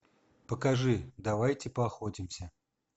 покажи давайте поохотимся